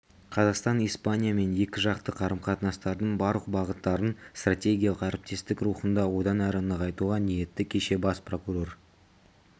қазақстан испаниямен екіжақты қарым-қатынастардың барлық бағыттарын стратегиялық әріптестік рухында одан әрі нығайтуға ниетті кеше бас прокурор